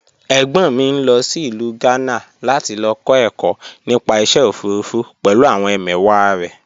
Ẹ̀gbọ́n mi ń lọ sí ìlú Gánà láti lọ kọ́ ẹ̀kọ́ nípa iṣẹ́ òfurufú pẹ̀lú àwọn ẹmẹ̀wàá rẹ̀